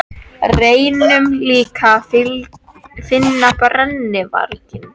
Og reynum líka að finna brennuvarginn.